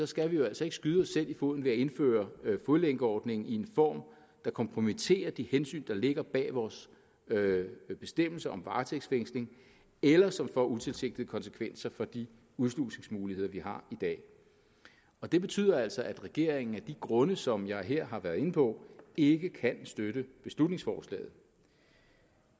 skal vi jo altså ikke skyde os selv i foden ved at indføre fodlænkeordning i en form der kompromitterer de hensyn der ligger bag vores bestemmelser om varetægtsfængsling eller som får utilsigtede konsekvenser for de udslusningsmuligheder vi har i dag og det betyder altså at regeringen af de grunde som jeg her har været inde på ikke kan støtte beslutningsforslaget